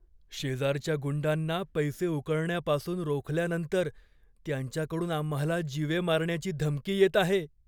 शेजारच्या गुंडांना पैसे उकळण्यापासून रोखल्यानंतर त्यांच्याकडून आम्हाला जीवे मारण्याची धमकी येत आहे.